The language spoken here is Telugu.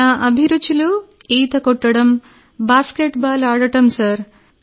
నా అభిరుచులు ఈత కొట్టడం బాస్కెట్బాల్ ఆడడం సార్